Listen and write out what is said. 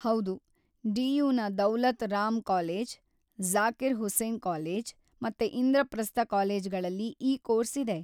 ಹೌದು, ಡಿ.ಯು.ನ Daulat Ram college, Zakir Hussain college ಮತ್ತು ಇಂದ್ರಪ್ರಸ್ಥ ಕಾಲೇಜ್ಗಳಲ್ಲಿ ಈ ಕೋರ್ಸ್‌ ಇದೆ.